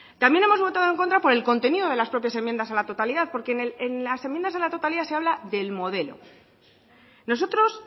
también hemos votado en contra por el contenido de las propias enmiendas a la totalidad porque en las enmiendas a la totalidad se habla del modelo nosotros